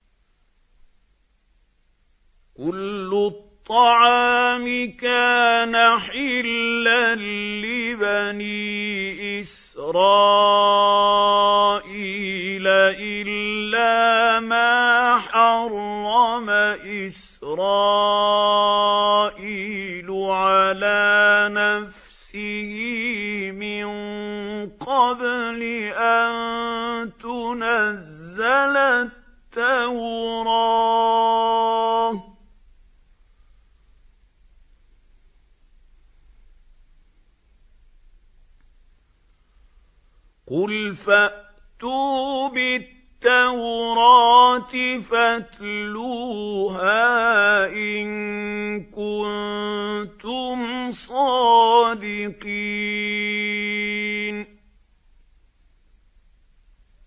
۞ كُلُّ الطَّعَامِ كَانَ حِلًّا لِّبَنِي إِسْرَائِيلَ إِلَّا مَا حَرَّمَ إِسْرَائِيلُ عَلَىٰ نَفْسِهِ مِن قَبْلِ أَن تُنَزَّلَ التَّوْرَاةُ ۗ قُلْ فَأْتُوا بِالتَّوْرَاةِ فَاتْلُوهَا إِن كُنتُمْ صَادِقِينَ